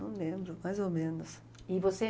Não lembro, mais ou menos. E você